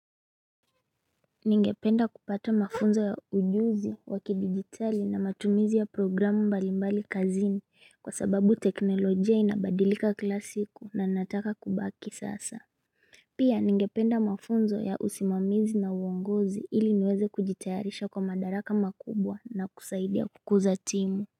Ningependa kupata mafunzo ya ujuzi wa kidigitali na matumizi ya programu mbalimbali kazini kwa sababu teknolojia inabadilika kila siku na nataka kubaki sasa Pia ningependa mafunzo ya usimamizi na uongozi ili niweze kujitayarisha kwa madaraka makubwa na kusaidia kukuza timu.